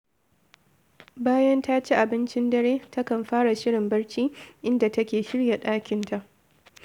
Bayan ta ci abincin dare, takan fara shirin barci, inda take shirya ɗakinta